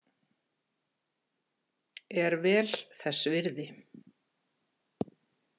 Er vel þess virði.